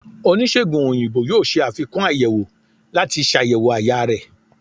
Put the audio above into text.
onisegùn oyinbo yóò ṣe afikún ayèwó lati ṣayẹwo àyà rẹ